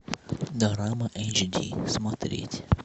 дорама эйч ди смотреть